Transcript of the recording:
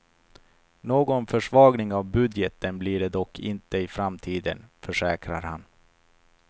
Någon försvagning av budgeten blir det dock inte i framtiden, försäkrar han.